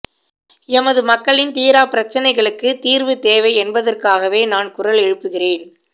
எமது மக்களின் தீராப்பிரச்சினைகளுக்கு தீர்வு தேவை என்பதற்காகவே நான் குரல் எழுப்புகிறேன்